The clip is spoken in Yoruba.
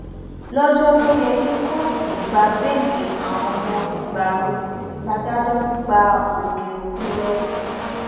lọjọ tó yẹ kí kóòtù gba bẹẹlí àwọn ọmọ ìgbárò ládájọ gba òkè òkun lọ